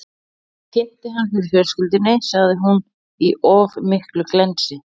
Ég kynnti hann fyrir fjölskyldunni, sagði hún, í of miklu glensi.